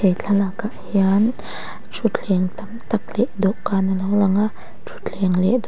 he thlalak ah hian thuthleng tam tak leh dawhkan a lo lang a thuthleng leh dawh--